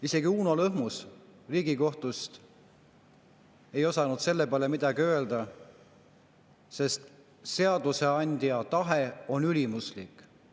Isegi Uno Lõhmus Riigikohtust ei osanud selle peale midagi öelda, sest seadusandja tahe on ülimuslik.